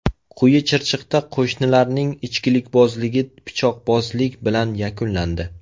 Quyi Chirchiqda qo‘shnilarning ichkilikbozligi pichoqbozlik bilan yakunlandi.